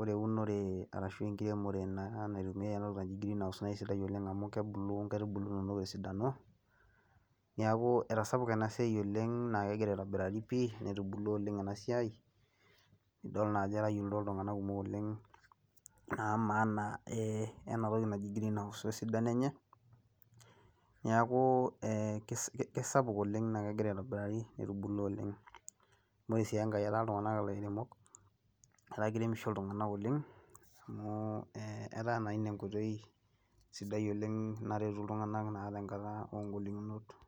ore eh eunore arashu ekiremore naitumiae ena toki naa naji green house naa kisidai oleng amu kebulu nkaitubulu inonok te sidano neaku etasapuka ina siai oleng naa kegira aitobirari pi netubulua oleng ina siai nidol naa ajo etayiolito iltunganak kumok oleng naa maana ena toki naji green house wee sidano enye neaku eh kisapuk oleng negira aitobirari ore sii engae etaa iltunganak ilairemok etaa kiremisho iltunganak oleng amu etaa naa ina enkoitoi sidai oleng naretu iltunganak naa.